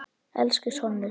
Elsku sonur.